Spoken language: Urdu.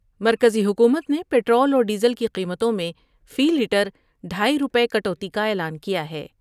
مرکزی حکومت نے پٹرول اور ڈیزل کی قیمتوں میں فی لیٹر ڈھائی روپے کٹوتی کا اعلان کیا ہے ۔